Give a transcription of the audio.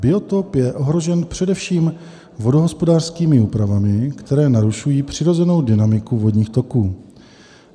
Biotop je ohrožen především vodohospodářskými úpravami, které narušují přirozenou dynamiku vodních toků.